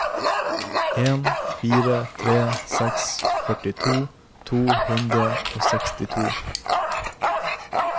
en fire tre seks førtito to hundre og sekstito